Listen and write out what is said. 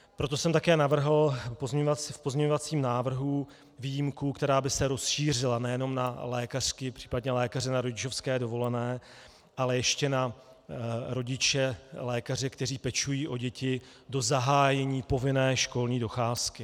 Proto jsem také navrhl v pozměňovacím návrhu výjimku, která by se rozšířila nejenom na lékařky, případně lékaře na rodičovské dovolené, ale ještě na rodiče-lékaře, kteří pečují o děti do zahájení povinné školní docházky.